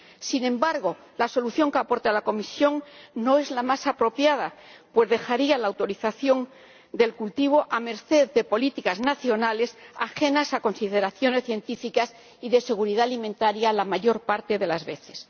Sin embargo, la solución que aporta la Comisión no es la más apropiada, pues dejaría la autorización del cultivo a merced de políticas nacionales ajenas a consideraciones científicas y de seguridad alimentaria la mayor parte de las veces.